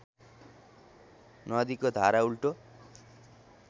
नदीको धारा उल्टो